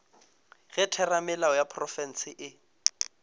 ge theramelao ya profense e